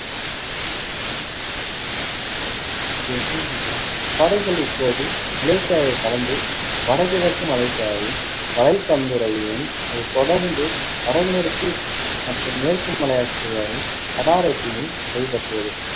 படைகள் இப்போது மலேசியாவைக் கடந்து வடகிழக்கு மலேசியாவின் வலைபந்துரையும், அதைத் தொடர்ந்து வடமேற்கு மற்றும் மேற்கு மலேசியாவின் கடாரத்தையும் கைப்பற்றியது.